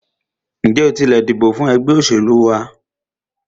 Ǹjẹ́ o tilẹ̀ dìbò fún ẹgbẹ́ òṣèlú wa?